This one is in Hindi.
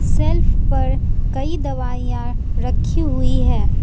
शेल्फ पर कई दवाइयां रखी हुई हैं।